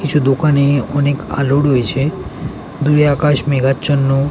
কিছু দোকানে অনেক আলোর রয়েছে দুই আকাশ মেঘাচ্ছন্ন।